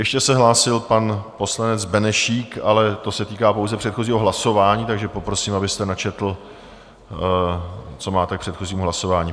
Ještě se hlásil pan poslanec Benešík, ale to se týká pouze předchozího hlasování, takže poprosím, abyste načetl, co máte k předchozímu hlasování.